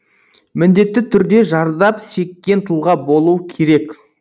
міндетті түрде зардап шеккен тұлға болу керек